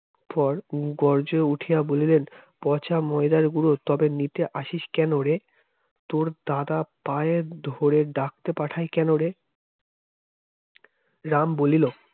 পর গর্জ্যে উঠিয়া বলবেন পচা ময়দার গুড়ো তবে নিতে আসিস কেন রে? তোর দাদা পায়ের ধরে ডাকতে পাঠায় কেন রে? রাম বলিল